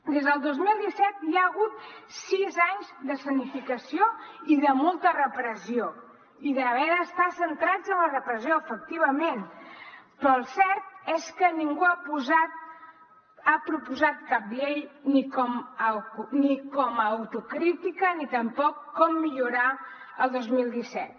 des del dos mil disset hi ha hagut sis anys d’escenificació i de molta repressió i d’haver d’estar centrats en la repressió efectivament però el cert és que ningú ha proposat cap llei ni com a autocrítica ni tampoc com millorar el dos mil disset